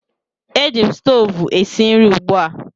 Eji m stoovu esi nri ugbu a